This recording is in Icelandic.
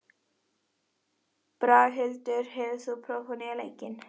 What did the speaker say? Braghildur, hefur þú prófað nýja leikinn?